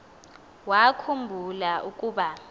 wakhu mbula ukuba